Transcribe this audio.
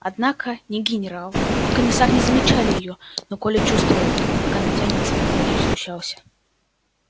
однако ни генерал ни комиссар не замечали её но коля чувствовал как она тянется и очень смущался